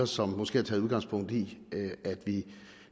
som måske har taget udgangspunkt i at vi